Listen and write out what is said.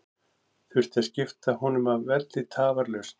Þurfti að skipta honum af velli tafarlaust.